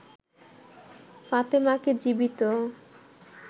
ফাতেমাকে জীবিত